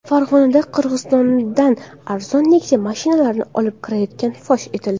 Farg‘onada Qirg‘izistondan arzon Nexia mashinalarini olib kirayotganlar fosh etildi.